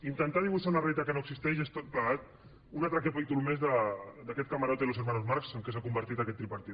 intentar dibuixar una realitat que no existeix és tot plegat un altre capítol més d’aquest camarote de los hermanos marx en què s’ha convertit aquest tripartit